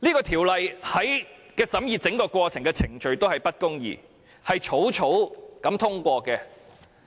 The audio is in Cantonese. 《條例草案》的整個審議過程都是不公義的，是草草通過的。